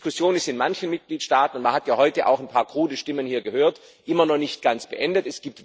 Die Diskussion ist in manchen Mitgliedstaaten man hat ja heute hier auch ein paar krude Stimmen gehört immer noch nicht ganz beendet.